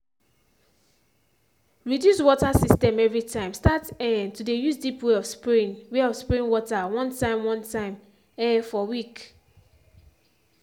reduce water system every time start um to de use deep way of spraying way of spraying water one time one time um for week.